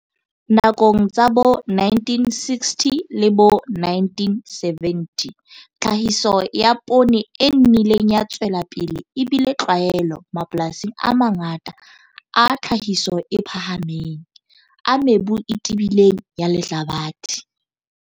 Nakong tsa bo1960 le bo1970 tlhahiso ya poone e nnileng ya tswela pele e bile tlwaelo mapolasing a mangata a tlhahiso e phahameng, a mebu e tebileng ya lehlabathe.